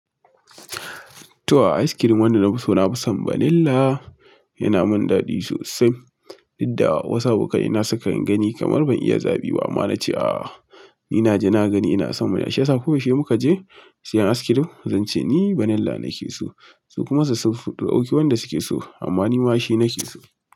To a, ice cream wanda na fi so na fi son vanilla yana mun dadi sosai. Inda wasu abokai na suka gani kamar ban iya zaɓi ba. Amma na ce a, ni na ji na gani ina son mana. Shiyasa ko yau she mu ka je siyan ice cream, zan ce ni vanilla nake so. Su kuma su dauki wanda suke so amma ni ma shi nake so.